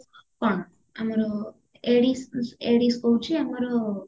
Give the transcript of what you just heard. କଣ ଆମର ଏଡିସ ମ ଏଡିସ ହଉଚି ଆମର